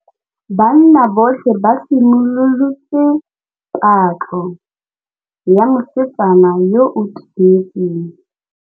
Banna botlhê ba simolotse patlô ya mosetsana yo o timetseng.